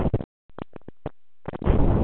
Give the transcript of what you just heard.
Hann var í svitabaði og hafði ákafan hjartslátt.